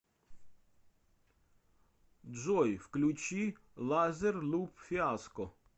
джой включи лазер луп фиаско